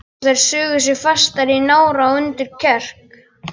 Og þær sugu sig fastar í nára og undir kverk.